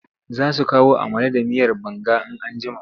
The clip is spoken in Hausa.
Za su kawo amala da miyar banga in an jima.